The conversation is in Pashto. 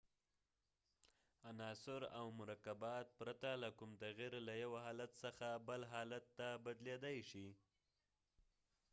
عناصر او مرکبات پرته له کوم تغیر له یو حالت څخه بل حالت ته بدلیدای شي